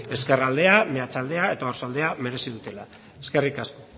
ezkerraldea meatzaldea eta oarsoaldea merezi dutela eskerrik asko